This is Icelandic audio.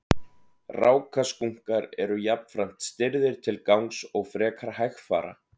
rákaskunkar eru jafnframt stirðir til gangs og frekar hægfara